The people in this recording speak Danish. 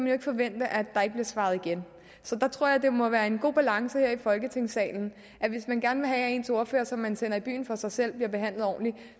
jo ikke forvente at der ikke bliver svaret igen så der tror jeg det må være en god balance her i folketingssalen at hvis man gerne vil have at ens ordfører som man sender i byen for sig selv bliver behandlet ordentligt